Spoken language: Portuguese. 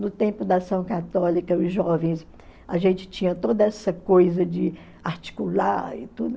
No tempo da ação católica, os jovens, a gente tinha toda essa coisa de articular e tudo.